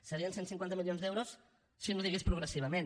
serien cent i cinquanta milions d’euros si no digués progressivament